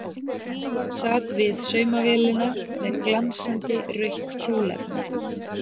Sat við saumavélina með glansandi rautt kjólefni.